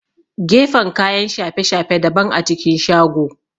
Gefen kayan shafe-shafe daban a cikin shago